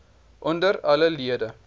onder alle lede